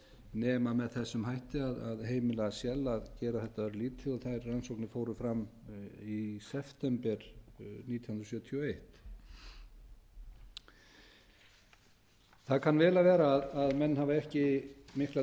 nema með þessum hætti að heimila shell að gera þetta örlítið og þær rannsóknir fóru fram í september nítján hundruð sjötíu og eitt það kann vel að vera að menn hafi ekki mikla